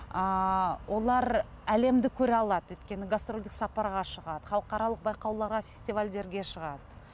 ыыы олар әлемді көре алады өйткені гастрольдік сапарға шығады халықаралық байқауларға фестивальдерге шығады